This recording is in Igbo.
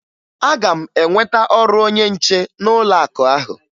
Aga m enweta ọrụ onye nche n'ụlọakụ ahụ